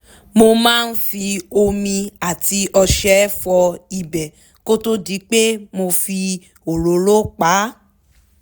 mo máa ń fi omi àti ọṣẹ fọ ibẹ̀ kó tó di pé mo fi òróró pa á